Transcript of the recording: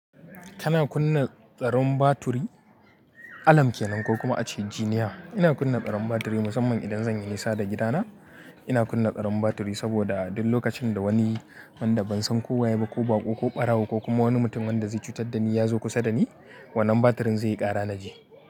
Kana kunna tsaron baturi? Alarm ke nan ko kuma ace jiniya. Ina kunna tsaron baturi musamman idan zan yi isa da gidana. Ina kunna tsaron baturi saboda duk lokacin da wani wanda ban san ko waye ba ko baƙo ko ɓarawo ko kuma wani mutum wanda zai cutar da ni ya zo kusa da ni, wannan baturin zai yi ƙara na ji.